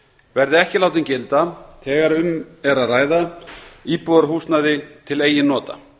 verði ekki látin gilda þegar um er að ræða íbúðarhúsnæði til eigin nota